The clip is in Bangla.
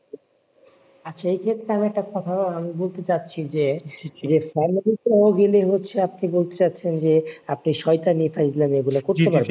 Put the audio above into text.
আচ্ছা এক্ষেত্রে আমি একটা কথা আমি বলতে চাচ্ছি যে যে family সহ গেলে হচ্ছে আপনি বলতে চাচ্ছেন যে আপনি শয়তানি ওগুলা করতে পারবেন না